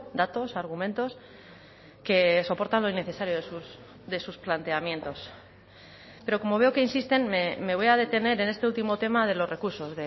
datos argumentos que soportan lo innecesario de sus planteamientos pero como veo que insisten me voy a detener en este último tema de los recursos